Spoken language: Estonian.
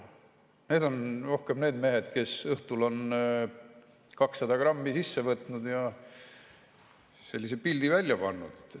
Need on rohkem need mehed, kes õhtul on 200 grammi sisse võtnud ja sellise pildi välja pannud.